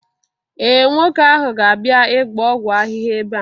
ee, nwoke ahu ga-abia ịgba ọgwụ ahịhịa ebe.